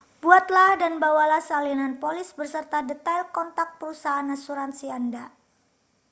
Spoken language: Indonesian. buatlah dan bawalah salinan polis beserta detail kontak perusahaan asuransi anda